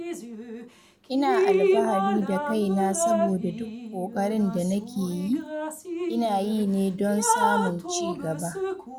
Ina alfahari da kaina saboda duk ƙoƙarin da nake yi, ina yi ne don samun cigaba.